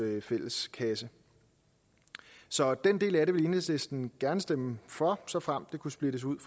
fælles kasse så den del af det vil enhedslisten gerne stemme for såfremt det kunne splittes ud